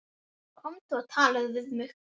Komdu og talaðu við mig